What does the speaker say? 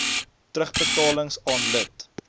terugbetalings aan lid